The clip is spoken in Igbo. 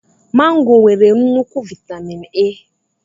Mango nwere nnukwu vitamin A.